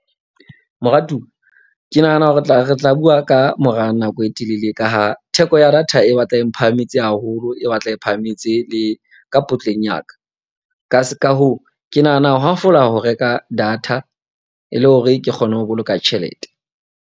Moratuwa ke nahana ho re tla bua ka mora nako e telele. Ka ha theko ya data e batla e mphahametse haholo, e batla e phahametse le ka potleng ya ka. Ka hoo, ke nahana ho hafola ho reka data e le hore ke kgone ho boloka tjhelete.